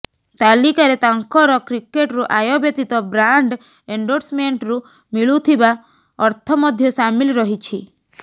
ତାଲିକାରେ ତାଙ୍କର କ୍ରିକେଟରୁ ଆୟ ବ୍ୟତୀତ ବ୍ରାଣ୍ଡ୍ ଏଣ୍ଡୋର୍ସମେଣ୍ଟରୁ ମିଳୁଥିବା ଅର୍ଥ ମଧ୍ୟ ସାମିଲ ରହିଛି